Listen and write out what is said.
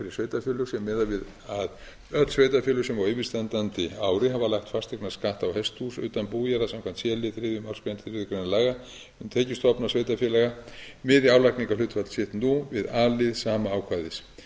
sveitarfélög sé miðað við að öll sveitarfélög sem á yfirstandandi ári hafa lagt fasteignaskatt á hesthús utan bújarða samkvæmt c lið þriðju málsgrein þriðju grein laga um tekjustofna sveitarfélaga miði álagningarhlutfall sitt nú við a lið sama ákvæðis